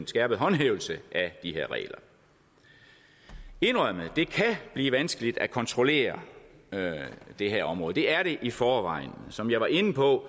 skærpet håndhævelse af de her regler jeg indrømmer at det kan blive vanskeligt at kontrollere det her område det er det i forvejen som jeg var inde på